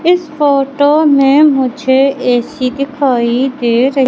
इस फोटो में मुझे ए_सी दिखाई दे र--